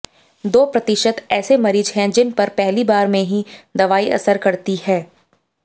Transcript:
दो प्रतिशत ऐसे मरीज हैं जिन पर पहली बार में ही दवाई असर करती है